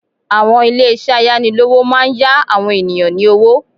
Àwọn ilé ìṣẹ́ ayánilówó máa n yá àwọn ènìyàn ní owó